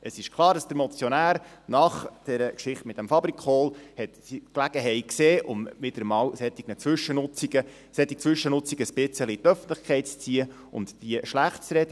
Es ist klar, dass der Motionär nach dieser Geschichte mit diesem «Fabrikool» die Gelegenheit sah, solche Zwischennutzungen wieder einmal wieder ein bisschen in die Öffentlichkeit zu ziehen und sie schlecht zu reden.